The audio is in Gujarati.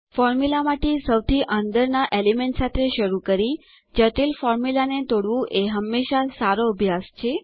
ફોર્મુલામાં સૌથી અંદર ના એલિમેન્ટ સાથે શરૂ કરી જટિલ ફોર્મ્યુલા ને તોડવું એ હંમેશા સારો અભ્યાસ છે